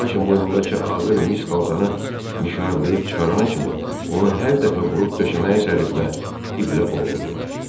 Lakin boynundakı ağır mis xaltanı mişarlayıb çıxarana kimi onu hər dəfə vurub döşəməyə sərir və iplə boğurdular.